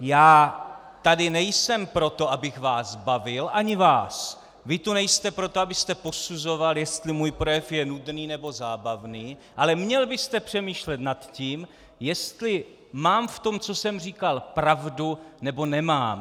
Já tady nejsem proto, abych vás bavil, ani vás, vy tu nejste proto, abyste posuzoval, jestli můj projev je nudný, nebo zábavný, ale měl byste přemýšlet nad tím, jestli mám v tom, co jsem říkal, pravdu nebo nemám.